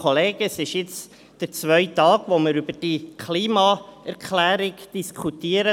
Es ist jetzt der zweite Tag, an dem wir über diese Klimaerklärung diskutieren.